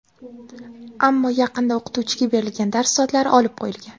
Ammo yaqinda o‘qituvchiga berilgan dars soatlari olib qo‘yilgan.